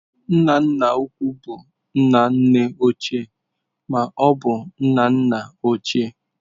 Nna nna ukwu bụ nna nne ochie ma ọ bụ nna nna ochie.